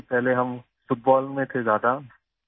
پہلے ہم football میں زیادہ تھے